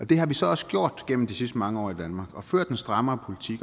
det har vi så også gjort gennem de sidste mange år i danmark og ført en strammere